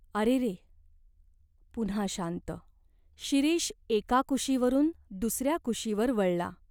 अरेरे !" पुन्हा शांत. शिरीष एका कुशीवरून दुसऱ्या कुशीवर वळला.